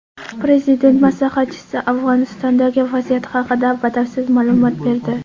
Prezident maslahatchisi Afg‘onistondagi vaziyat haqida batafsil ma’lumot berdi.